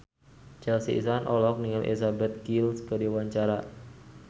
Chelsea Islan olohok ningali Elizabeth Gillies keur diwawancara